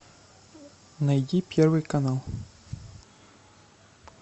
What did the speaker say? найди первый канал